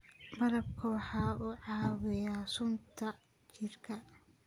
Malabka waxa uu caawiyaa sunta jirka.